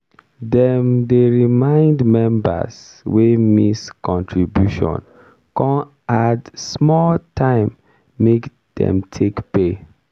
dem dey remind members wey miss contribution con add small time make dey take pay.